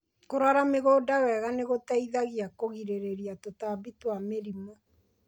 Kũrora mĩgũnda wega nĩ gũteithagia kũgirĩrĩria tũtambi na mĩrimũ.